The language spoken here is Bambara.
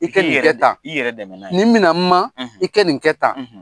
I kɛ nin kɛ tan, i k'i, i k'i yɛrɛ dɛmɛ n'a ye. Nin minɛ ma, i kɛ nin kɛ tan.